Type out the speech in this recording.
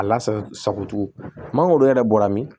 A lasago sago cogo mangoro yɛrɛ bɔra min